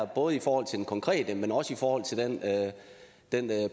både i forhold til det konkrete men også i forhold til den den